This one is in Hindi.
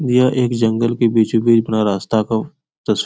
यह एक जंगल के बीचो बीच बना रास्ता को तस --